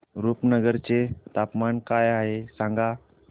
रुपनगर चे तापमान काय आहे सांगा